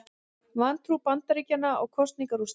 Vantrú Bandaríkjanna á kosningaúrslit